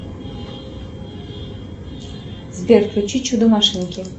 сбер включи чудо машинки